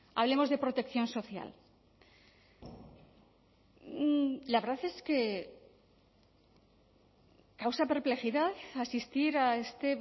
hablemos de protección social la verdad es que causa perplejidad asistir a este